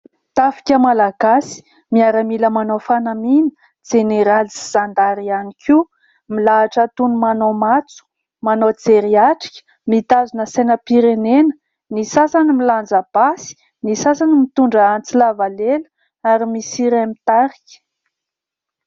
Tafika malagasy, miaramila manao fanamina jeneraly sy zandary ihany koa milahatra toy ny manao matso, manao jerihatrika, mitazona sainam-pirenena, ny sasany milanja basy, ny sasany mitondra antsy lava lela ary misy iray mitarika.